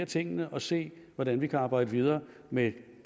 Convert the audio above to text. ting lad os se hvordan vi kan arbejde videre med